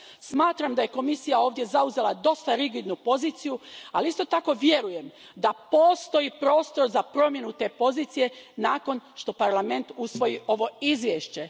Smatram da je Komisija ovdje zauzela dosta rigidnu poziciju, ali isto tako vjerujem da postoji prostor za promjenu te pozicije nakon što Parlament usvoji ovo izvješće.